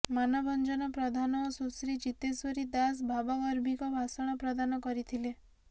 ମାନଭଞ୍ଜନ ପ୍ରଧାନ ଓ ସୁଶ୍ରୀ ଜିତେଶ୍ବରୀ ଦାଶ ଭାବଗର୍ଭିକ ଭାଷଣ ପ୍ରଦାନ କରିଥିଲେ